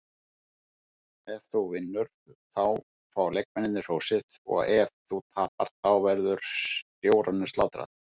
Ef þú vinnur þá fá leikmennirnir hrósið, og ef þú tapar þá verður stjóranum slátrað.